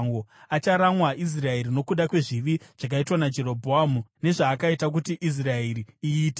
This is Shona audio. Acharamwa Israeri nokuda kwezvivi zvakaitwa naJerobhoamu nezvaakaita kuti Israeri iite.”